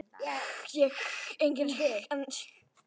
Þá fæ ég einhvern annan til að gera það